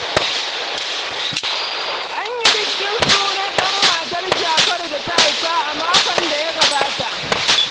An yi bikin sunan ɗan da matar Jafaru ta haifa a makon da ya gabata.